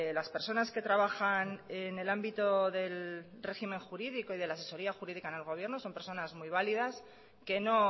las personas que trabajan en el ámbito del régimen jurídico y de la asesoría jurídica en el gobierno son personas muy válidas que no